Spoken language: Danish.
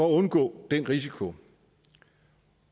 at undgå den risiko